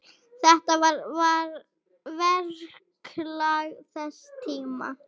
Þetta var verklag þess tíma.